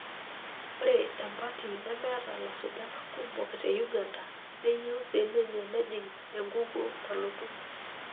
Ore empati nemeeta lasujak kumok te Uganda neyieu siininye nejing' ukukuo nalotu.